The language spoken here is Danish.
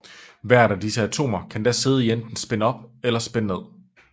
Hvert af disse atomer kan da sidde enten i spin op eller spin ned